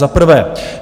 Za prvé.